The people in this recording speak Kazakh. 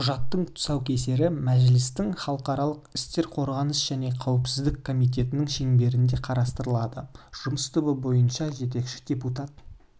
құжаттың тұсаукесері мәжілістің халықаралық істер қорғаныс және қауіпсіздік комитетінің шеңберінде қарастырылады жұмыс тобы бойынша жетекші депутат